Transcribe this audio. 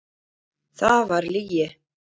Það var lygi.